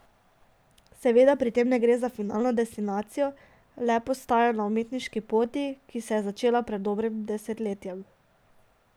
Seveda pri tem ne gre za finalno destinacijo, le postajo na umetniški poti, ki se je začela pred dobrim desetletjem.